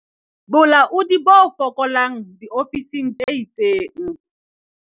Bolaodi bo fokolang diofising tse itseng